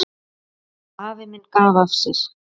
Afi minn gaf af sér.